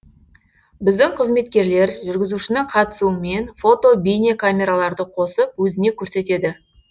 біздің қызметкерлер жүргізушінің қатысуымен фото бейне камераларды қосып өзіне көрсетеді